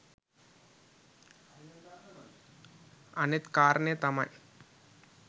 අනෙත් කාරණය තමයි